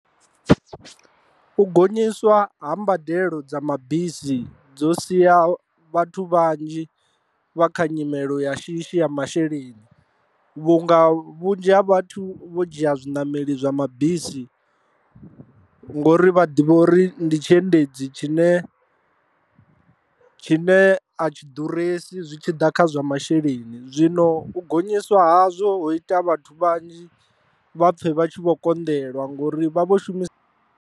U gonyiswa ha mbadelo dza mabisi dzo sia vhathu vhanzhi vha kha nyimelo ya shishi ya masheleni, vhunga vhunzhi ha vhathu vho dzhia zwiṋameli zwa mabisi ngori vha ḓivha uri ndi tshiendedzi tshine tshine a tshi ḓuresi zwi tshi ḓa kha zwa masheleni. Zwino u gonyiswa ha zwo ita vhathu vhanzhi vha pfhe vha tshi vho konḓelwa ngori vha vho shumisa.